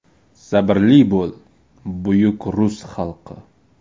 Sabrli bo‘l, buyuk rus xalqi!